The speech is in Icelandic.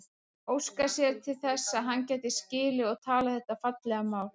Óskaði sér þess að hann gæti skilið og talað þetta fallega mál.